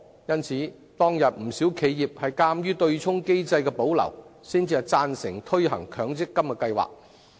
當時不少企業鑒於對沖機制得以保留，才會贊成推行強積金計劃。